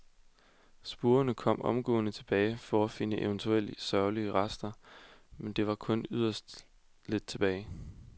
Spurvene kom omgående tilbage for at finde eventuelle sørgelige rester, men der var kun yderst lidt tilbage.